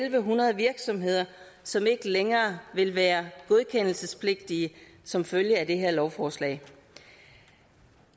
en hundrede virksomheder som ikke længere vil være godkendelsespligtige som følge af det her lovforslag